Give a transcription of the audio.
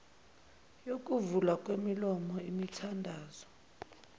yokuvulwa kwemilomo imithandazo